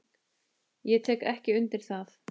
Ég tek ekki undir það.